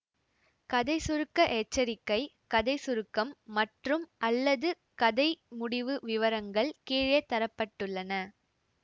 கதை சுருக்க எச்சரிக்கை கதை சுருக்கம் மற்றும்அல்லது கதை முடிவு விவரங்கள் கீழே தர பட்டுள்ளன